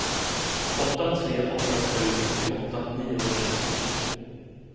åtta tre åtta sju femtioåtta niohundratjugotvå